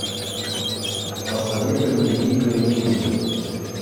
посоветуй мне дикая невинность